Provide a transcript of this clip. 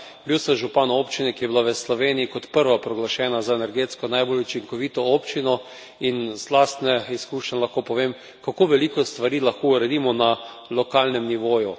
Bil sem župan občine, ki je bila v Sloveniji kot prva proglašena za energetsko najbolj učinkovito občino, in iz lastnih izkušenj lahko povem, kako veliko stvari lahko uredimo na lokalnem nivoju.